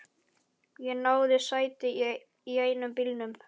Ég náði í sæti í einum bílnum.